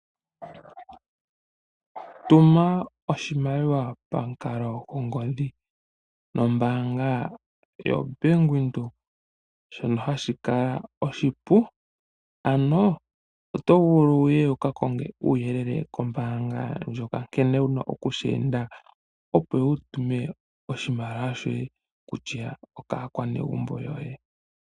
Tuma oshimaliwa pamukalo gongodhi nombaanga yo Bank Windhoek shono hashikala oshipu ano oto vulu wuye wuka konge uuyelele kombaanga ndjoka nkene wuna okusheenda opo wutume oshimaliwa shoye kutya okaakwa negumbo lyoye.